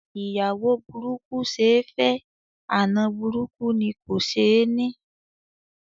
Ìyàwó burúkú ṣe ẹ́ fẹ́, àna burúkú ni kò ṣe ẹ́ ní.